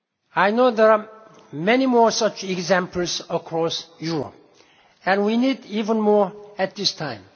I know there are many more such examples across Europe and we need even more at this time.